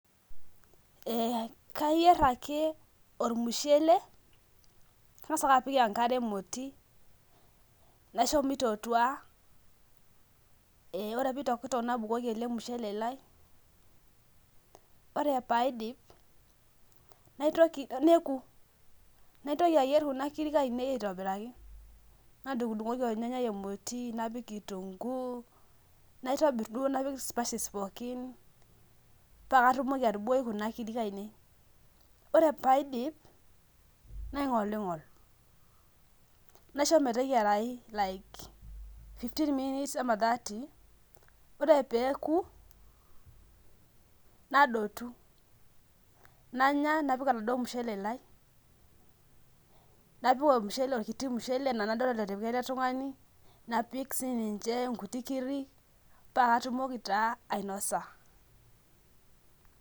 Ee kayier ake ormushele kangasa ake apik enkare emoti naisho mitootua ee ore pitokitok nabukuko ele mushele lai ore peoku naitoki ayier kunakirik ainei aitobiraki nadungoki ornyannyai emoti napik kitunguu naitobir duo napik spices pookin pakatumoki atubukoki kunabkirik aainiei ore paidip naingolingol naishobmeteyiarai like fifteen minutes ama thirty ore peoku nadotu nanya napik oladuo mushele lai napik orkiti mushele ana anatipika eletungani pakatumoki ta ainosa